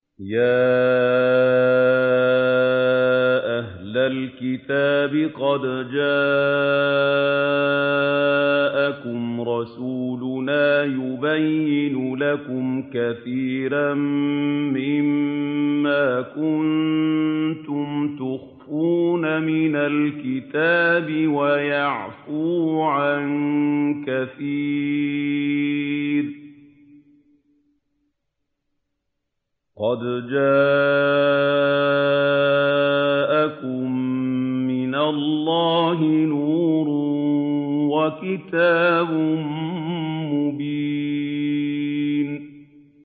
يَا أَهْلَ الْكِتَابِ قَدْ جَاءَكُمْ رَسُولُنَا يُبَيِّنُ لَكُمْ كَثِيرًا مِّمَّا كُنتُمْ تُخْفُونَ مِنَ الْكِتَابِ وَيَعْفُو عَن كَثِيرٍ ۚ قَدْ جَاءَكُم مِّنَ اللَّهِ نُورٌ وَكِتَابٌ مُّبِينٌ